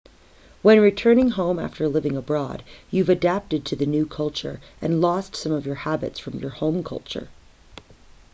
when returning home after living abroad you've adapted to the new culture and lost some of your habits from your home culture